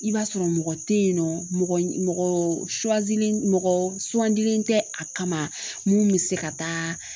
I b'a sɔrɔ mɔgɔ tɛ ye nɔ mɔgɔ tɛ a kama mun bɛ se ka taa